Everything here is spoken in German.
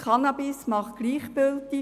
Cannabis macht gleichgültig.